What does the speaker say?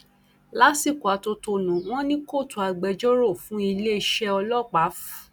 lásìkò atótónu wọn ni kóòtù agbẹjọrò fún iléeṣẹ ọlọpàá f